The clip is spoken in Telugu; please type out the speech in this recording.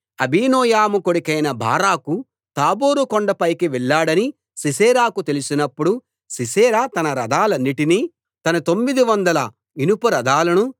అబీనోయము కొడుకైన బారాకు తాబోరు కొండపైకి వెళ్ళాడని సీసెరాకు తెలిసినప్పుడు సీసెరా తన రథాలన్నిటినీ తన తొమ్మిదివందల ఇనుప రథాలను